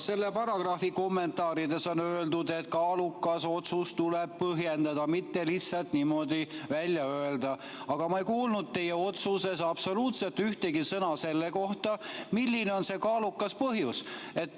Selle paragrahvi kommentaarides on öeldud, et kaalukat põhjust tuleb põhjendada, mitte lihtsalt niimoodi välja öelda, aga ma ei kuulnud teie otsuses absoluutselt ühtegi sõna selle kohta, milline on see kaalukas põhjus.